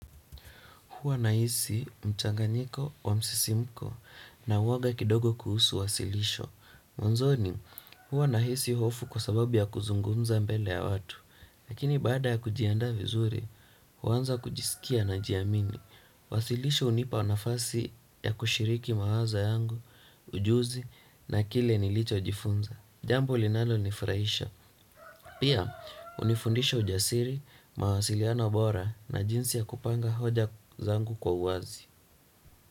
Huwa nahisi mchanganyiko wa msisimko na uoga kidogo kuhusu wasilisho. Mwanzoni, huwa nahisi hofu kwa sababu ya kuzungumza mbele ya watu. Lakini bada ya kujiandaa vizuri, huanza kujisikia najiamini. Wasilisho unipa nafasi ya kushiriki mawazo yangu, ujuzi na kile nilicho jifunza. Jambo linalo nifurahisha. Pia, unifundisha ujasiri, mawasiliano bora na jinsi ya kupanga hoja zangu kwa uazi.